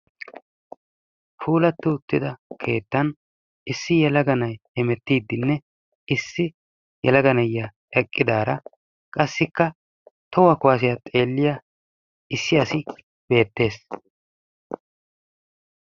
Puulatti uttida keettan issi yelaga na'ay hemettiidinne issi yelaga na'iya eqqidaara qassikka tohuwa kuwaassiya xeelliya issi asi beettees.